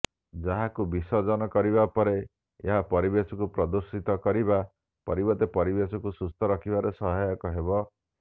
ଯାହାକୁ ବିସର୍ଜନ କରିବା ପରେ ଏହା ପରିବେଶକୁ ପ୍ରଦୂଷିତ କରିବା ପରିବର୍ତ୍ତେ ପରିବେଶକୁ ସୁସ୍ଥ ରଖିବାରେ ସହାୟକ ହେବ